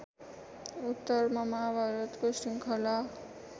उत्तरमा माहाभारतको श्रृङ्खला